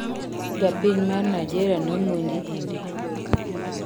Japiny mar Nigeria nomonji India